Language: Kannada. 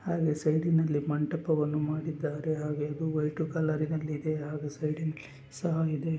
ಹಾಗೆ ಸೈಡಿನಲ್ಲಿ ಮಂಟಪವನ್ನು ಮಾಡಿದ್ದಾರೆ. ಹಾಗೆ ಇದು ವೈಟು ಕಲರಿನಲ್ಲಿ ಇದೆ ಹಾಗು ಸೈಡಿನಲ್ಲಿ ಸಹ ಇದೆ.